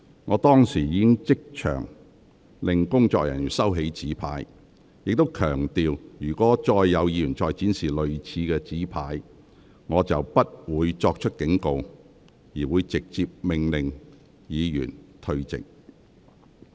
我當時已即場命令工作人員收起紙牌，並強調若有議員再次展示類似的紙牌，我將不會再作警告，而會直接命令有關議員退席。